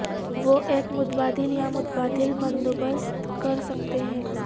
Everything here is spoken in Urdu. وہ ایک متبادل یا متبادل بندوبست کر سکتے ہیں